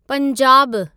पंजाबु